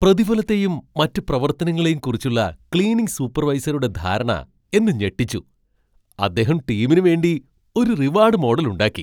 പ്രതിഫലത്തെയും മറ്റ് പ്രവർത്തനങ്ങളെയും കുറിച്ചുള്ള ക്ലീനിംഗ് സൂപ്പർവൈസറുടെ ധാരണ എന്നെ ഞെട്ടിച്ചു. അദ്ദേഹം ടീമിന് വേണ്ടി ഒരു റിവാഡ് മോഡൽ ഉണ്ടാക്കി.